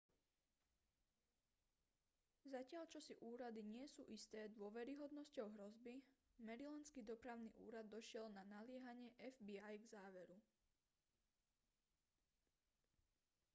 zatiaľ čo si úrady nie sú isté dôveryhodnosťou hrozby marylandský dopravný úrad došiel na naliehanie fbi k záveru